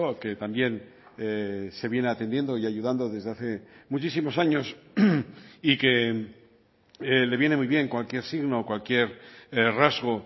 que también se viene atendiendo y ayudando desde hace muchísimos años y que le viene muy bien cualquier signo cualquier rasgo